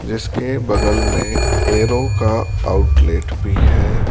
जिसके बगल में एरो का आउटलेट भी है।